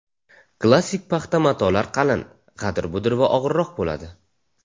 Klassik paxta matolar qalin, g‘adir-budir va og‘irroq bo‘ladi.